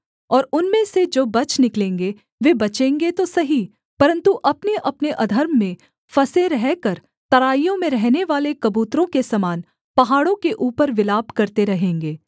और उनमें से जो बच निकलेंगे वे बचेंगे तो सही परन्तु अपनेअपने अधर्म में फँसे रहकर तराइयों में रहनेवाले कबूतरों के समान पहाड़ों के ऊपर विलाप करते रहेंगे